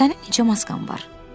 Sənin neçə maskan var,